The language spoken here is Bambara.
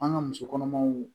An ka musokɔnɔmaw